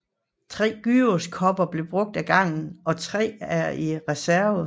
Tre gyroskoper bruges ad gangen og tre er i reserve